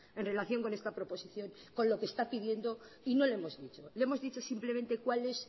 en relación con esta proposición con lo que está pidiendo y no le hemos dicho le hemos dicho simplemente cuál es